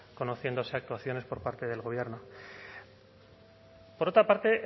conociéndose actuaciones por parte del gobierno por otra parte